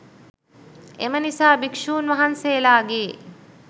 එම නිසා භික්‍ෂූන් වහන්සේලාගේ